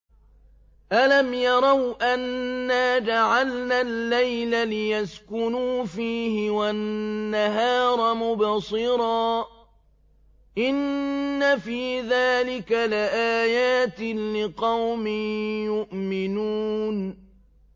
أَلَمْ يَرَوْا أَنَّا جَعَلْنَا اللَّيْلَ لِيَسْكُنُوا فِيهِ وَالنَّهَارَ مُبْصِرًا ۚ إِنَّ فِي ذَٰلِكَ لَآيَاتٍ لِّقَوْمٍ يُؤْمِنُونَ